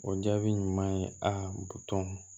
O jaabi ɲuman ye aa butɔn